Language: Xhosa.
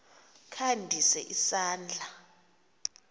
kha ndise isandla